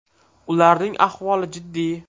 Ularning ahvoli jiddiy.